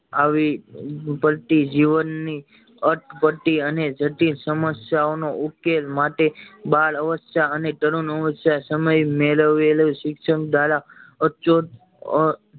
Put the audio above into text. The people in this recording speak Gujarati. આવી જીવન ની અટપટી અને જટિલ સમસ્યા ઓ નો ઉકેલ માટે બાળ અવસ્થા અને તરુણાવસ્થા સમય મેળવેલું શિક્ષણ દ્વારા